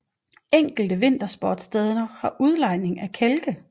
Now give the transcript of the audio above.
Enkelte vintersportssteder har udlejning af kælke